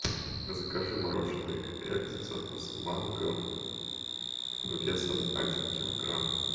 закажи мороженое экзо со вкусом манго весом один килограмм